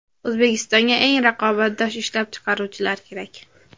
O‘zbekistonga eng raqobatbardosh ishlab chiqaruvchilar kerak.